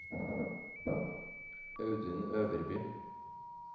Audun Øverby